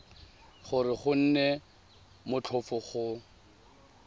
gore go nne motlhofo go